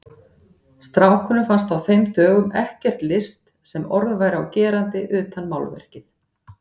Strákunum fannst á þeim dögum ekkert list sem orð væri á gerandi utan málverkið.